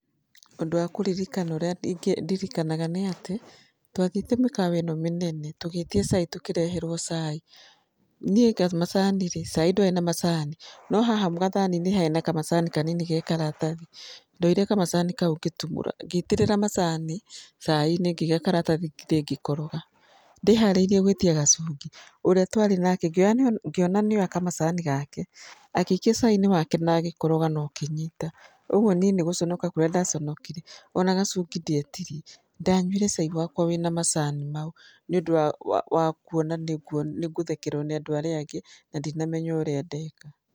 Ũndũ wa kũririkana ũrĩa ndíirikanaga nĩ atĩ, twathiĩte mĩkawa ĩno mĩnene tũgĩtia cai tũkĩreherũo cai, niĩ macani rĩ, cai ndwarĩ na macani, no haha gathani-inĩ hena kamacani kanini ge karatathi, ndoire kamacani kau ngĩtumũra ngĩitĩrĩra macani cai-inĩ ngĩiga karathathi thĩ ngĩkoroga. Ndĩharĩirie gwĩtia gacungi ũrĩa twarĩ nake ngĩona nĩoya kamacani gake agĩikia cai-inĩ wake na agĩkoroga na ũkĩnyita. Ũguo niĩ nĩ gũconoka kũrĩa ndaconokire ona gacungi ndietirie ndanyuire cai wakwa wĩna macani mau nĩ ũndũ wa kuona nĩ ngũthekererwo nĩ andũ arĩa angĩ, na ndinamenya ũrĩa ndeka.